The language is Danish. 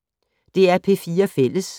DR P4 Fælles